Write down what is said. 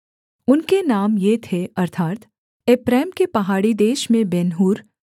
उनके नाम ये थे अर्थात् एप्रैम के पहाड़ी देश में बेन्हूर